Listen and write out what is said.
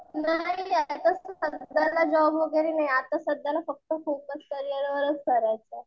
नाही आता सध्याला जॉब वगैरे नाही आता सध्याला फोकस फक्त करियरवर करायचं आहे.